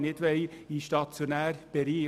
Eine solche Verschiebung wollen wir nicht.